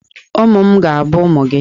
Ụmụ m ga-abụ ụmụ ụmụ gị.